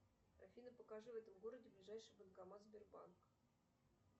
афина покажи в этом городе ближайший банкомат сбербанк